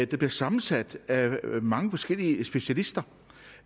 der bliver sammensat af mange forskellige specialister